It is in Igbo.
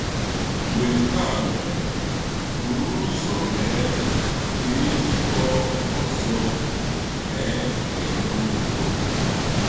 Mgbe nke a mere, buru ụzọ mee ka e jikọọ ọzọ — mee ka e nwee udo.